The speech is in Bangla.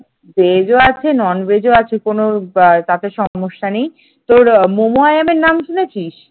veg ও আছে non veg ও আছে কোন তাতে সমস্যা নেই তোর মমআইয়নের নাম শুনেছিস?